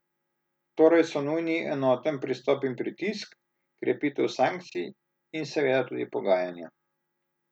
Torej so nujni enoten pristop in pritisk, krepitev sankcij in seveda tudi pogajanja.